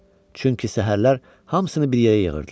Çünki səhərlər hamısını bir yerə yığırdılar.